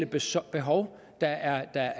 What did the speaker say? basale behov der er